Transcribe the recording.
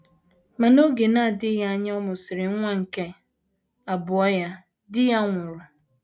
Ma n’oge na - adịghị anya ọ mụsịrị nwa nke abụọ ya, di ya nwụrụ.